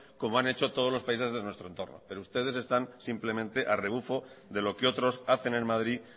como han hecho todos los países de nuestro entorno pero ustedes están simplemente a rebufo de lo que otros hacen en madrid